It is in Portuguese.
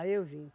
eu vim.